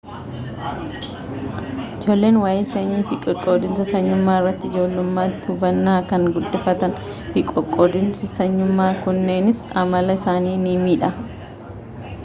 ijoolleen waa'ee sanyii fi qoqqoodinsa sanyummaa irratti ijoollummaatti hubannaa kan guddifatanii fi qoqqoodinsi sanyummaa kunneenis amala isaanii ni miidha